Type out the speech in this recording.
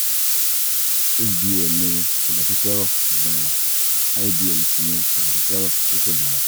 ẹnlẹ́ o cs] hdl ni kòlẹ́sítérò tó dára ldl sì ni kòlẹ́sítérò tí kò dára